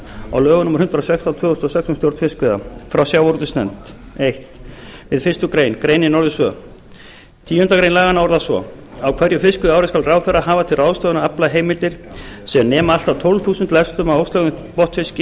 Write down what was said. á lögum númer hundrað og sextán tvö þúsund og sex um stjórn fiskveiða frá sjávarútvegsnefnd fyrstu við fyrstu grein greinin orðist svo tíundu grein laganna orðast svo á hverju fiskveiðiári skal ráðherra hafa til ráðstöfunar aflaheimildir sem nema allt að tólf þúsund lestum af óslægðum botnfiski